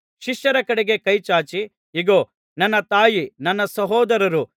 ಶಿಷ್ಯರ ಕಡೆಗೆ ಕೈ ಚಾಚಿ ಇಗೋ ನನ್ನ ತಾಯಿ ನನ್ನ ಸಹೋದರರು